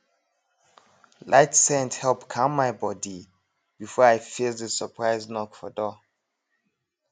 light scent help calm my body before i face the surprise knock for door